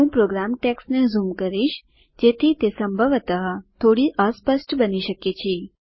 હું પ્રોગ્રામ ટેક્સ્ટને ઝૂમ કરીશ જેથી તે સંભવતઃ થોડી અસ્પષ્ટ બની શકે છે